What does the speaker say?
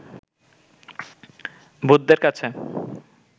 ভূতদের কাছে